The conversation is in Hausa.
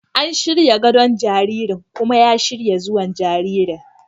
An shirya gadon jaririn kuma ya shirya zuwan jariri.